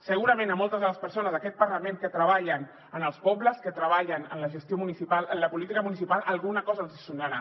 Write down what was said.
segurament a moltes de les persones d’aquest parlament que treballen en els pobles que treballen en la gestió municipal en la política municipal alguna cosa els hi sonarà